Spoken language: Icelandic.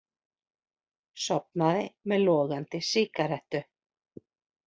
Sofnaði með logandi sígarettu